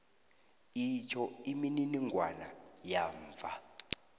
itjho imininingwana yamva